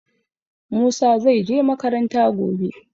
Musa zai je makaranta gobe.